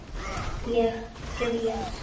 Ég græt.